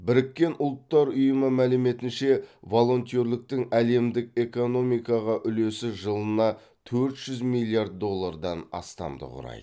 біріккен ұлттар ұйымының мәліметінше волонтерліктің әлемдік экономикаға үлесі жылына төрт жүз миллиард доллардан астамды құрайды